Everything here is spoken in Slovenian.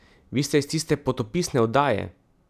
Vi ste iz tiste potopisne oddaje!